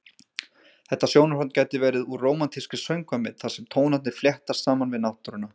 Þetta sjónarhorn gæti verið úr rómantískri söngvamynd þar sem tónarnir fléttast saman við náttúruna.